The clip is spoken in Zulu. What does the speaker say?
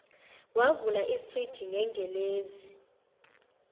wavula ifriji gengelezi